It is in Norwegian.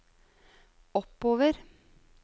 oppover